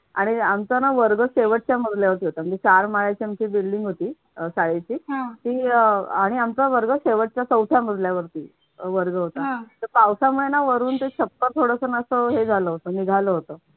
आणि आमचा ना वर्ग शेवटच्या मजल्यावरती होता म्हणजे चार माळ्याच्या आमची बिल्डिंग होती शाळेची तीळ आणि आमच्या घराजवळ शेवटच्या चौथ्या मजल्यावरती वर्ग होता, तर पावसामुळे ना वरून ते छप्पर थोडसं हे झालं होतं. निघाल होत.